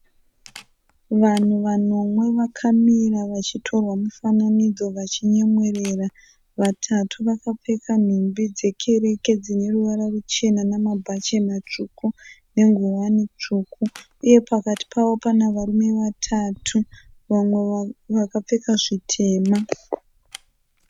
Vanhu vanomwe vakamira vachitorwa mufananidzo vachinyemwerera. Vatatu vakapfeka nhumbi dzekereke dzine ruvara ruchena namabhachi matsvuku nenguwani tsvuku uye pakati pavo pane varume vatatu vamwe vakapfeka zvitema.